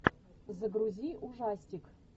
загрузи ужастик